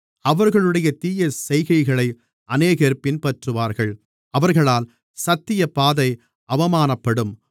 அவர்களுடைய தீயசெய்கைகளை அநேகர் பின்பற்றுவார்கள் அவர்களால் சத்தியப்பாதை அவமானப்படும்